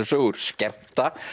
sögur skemmta